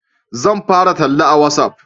Zan fara talla a watsaf